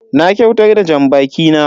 Na kyautar da janbaki na.